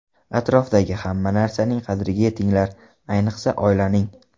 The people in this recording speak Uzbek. Atrofdagi hamma narsaning qadriga yetinglar, ayniqsa oilaning.